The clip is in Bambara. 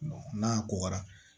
n'a kɔgɔra